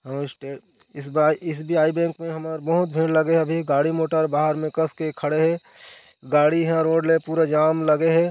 इस बार S B I bank में हमर बहुत भीड़ लगे हे अभी गाड़ी मोटर बाहर में कस के खड़े हे गाड़ी हे रोड ले पूरा जाम लगे हे ।